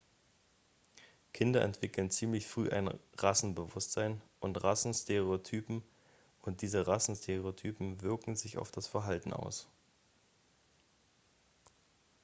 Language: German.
kinder entwickeln ziemlich früh ein rassenbewusstsein und rassenstereotypen und diese rassenstereotypen wirken sich auf das verhalten aus